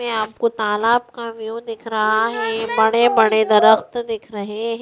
इसमे आपको तालाब का व्यू दिख रहा है बड़े-बड़े दरस्त दिख रहे --